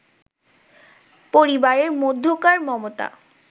পরিবারের মধ্যকার মমতা